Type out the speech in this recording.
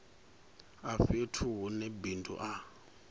a fhethu hune bindu a